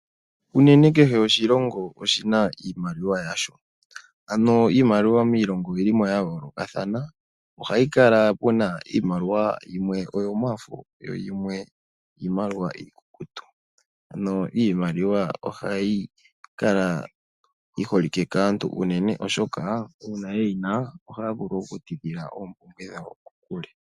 Uunene kehe oshilongo oshi na iimaliwa yasho, ano iimaliwa miilongo oyi li mo ya yoolokathana. Oha yi kala puna iimaliwa yimwe oyomafo yo yimwe iimaliwa iikukutu. Ano iimaliwa oha yi kala yi holike kaantu uunene oshoka shampa eyi na ohakala yuuvite elago.